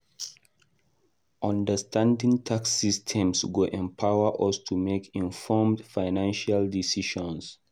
Understanding tax systems go empower us to make informed financial decisions.